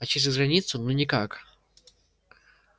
а через границу ну никак